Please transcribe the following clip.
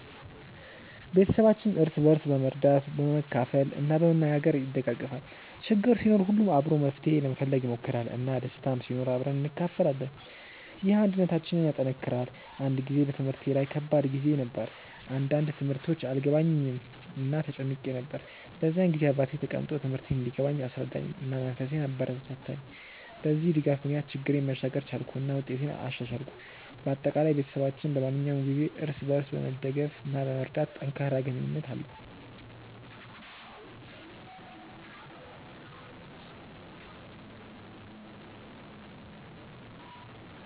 ቤተሰባችን እርስ በርስ በመርዳት፣ በመካፈል እና በመነጋገር ይደጋገፋል። ችግር ሲኖር ሁሉም አብሮ መፍትሄ ለመፈለግ ይሞክራል፣ እና ደስታም ሲኖር አብረን እንካፈላለን። ይህ አንድነታችንን ያጠናክራል። አንድ ጊዜ በትምህርቴ ላይ ከባድ ጊዜ ነበር፣ አንዳንድ ትምህርቶች አልገባኝም እና ተጨንቄ ነበር። በዚያ ጊዜ አባቴ ተቀምጦ ትምህርቴን እንዲገባኝ አስረዳኝ፣ እና መንፈሴን አበረታታኝ። በዚህ ድጋፍ ምክንያት ችግሬን መሻገር ቻልኩ እና ውጤቴንም አሻሻልኩ። በአጠቃላይ፣ ቤተሰባችን በማንኛውም ጊዜ እርስ በርስ በመደገፍ እና በመርዳት ጠንካራ ግንኙነት አለው።